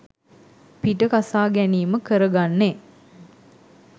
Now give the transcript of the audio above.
පිට කසා ගැනීම කරගන්නේ.